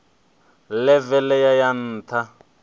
ḽeve ḽe ya ya nṱha